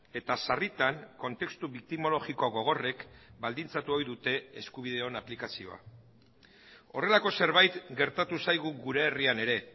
eta sarritan kontestu biktimologiko gogorrek baldintzatu ohi dute eskubideon aplikazioa horrelako zerbait gertatu zaigu gure herrian ere